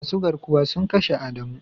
Masu garkuwa sun kashe adamu.